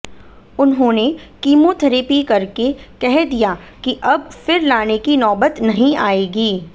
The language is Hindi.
उन्होंने किमोथेरापी करके कह दिया कि अब फिर लाने की नौबत नहीं आयेगी